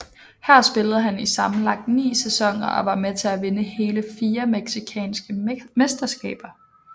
Her spillede han i sammenlagt ni sæsoner og var med til at vinde hele fire mexicanske mesterskaber